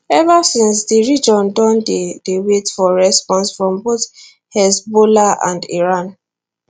ever since di region don dey dey wait for response from both hezbollah and iran